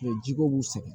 jiko b'u sɛgɛn